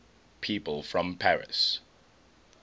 people from paris